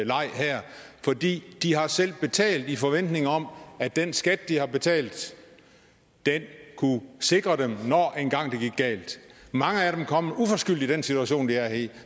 leg her for de har selv betalt i forventning om at den skat de har betalt kunne sikre dem når det engang gik galt mange af dem er kommet uforskyldt i den situation de er i